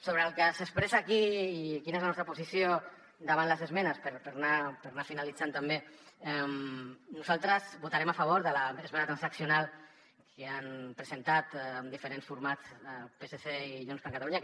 sobre el que s’expressa aquí i quina és la nostra posició davant les esmenes per anar finalitzant també nosaltres votarem a favor de l’esmena transaccional que han presentat amb diferents formats el psc i junts per catalunya